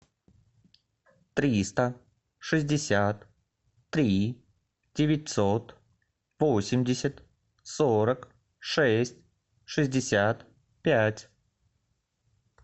триста шестьдесят три девятьсот восемьдесят сорок шесть шестьдесят пять